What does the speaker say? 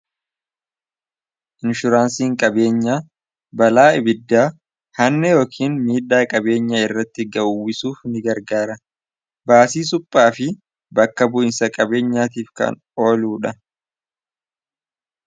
inshuraansiiin qabeenya balaa ibiddaa hanne yookiin miidhaa qabeenyaa irratti gawwisuuf ni gargaara baasii suphaa fi bakka bu'insa qabeenyaatiif kan ooluu dha